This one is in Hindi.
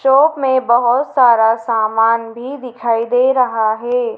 चौक में बहोत सारा सामान भी दिखाई दे रहा है।